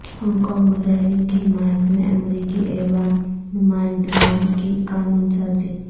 Hong Kong مظاہرین کی حمایت میں امریکی ایوان نمائندگان کی قانون سازی